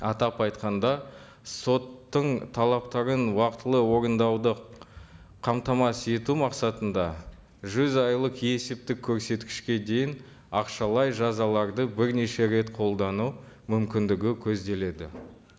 атап айтқанда соттың талаптарын уақытылы орындауды қамтамасыз ету мақсатында жүз айлық есептік көрсеткішке дейін ақшалай жазаларды бірнеше рет қолдану мүмкіндігі көзделеді